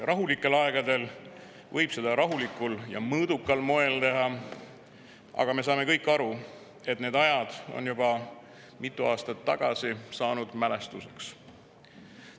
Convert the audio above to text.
Rahulikel aegadel võib seda teha rahulikul ja mõõdukal moel, aga me saame kõik aru, et need ajad said juba mitu aastat tagasi mälestuseks.